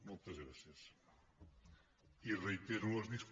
moltes gràcies i reitero les disculpes